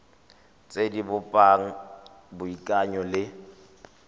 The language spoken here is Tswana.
tse di bopang boikanyo le